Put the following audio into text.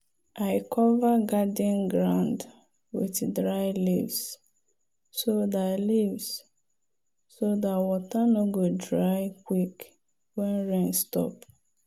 i cover garden ground with dry leaves so dat leaves so dat water no go dry quick when rain stop.